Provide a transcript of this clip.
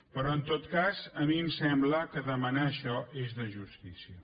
però en tot cas a mi em sembla que demanar això és de justícia